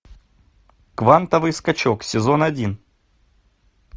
квантовый скачок сезон один